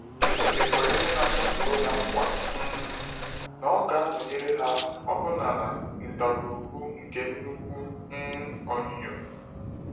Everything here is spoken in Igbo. Chineke kwere ndị na-asọpụrụ Ya nkwa um na Ọ ga-anọnyere ha ọbụna n’ “ndagwurugwu nke nnukwu um onyinyo.”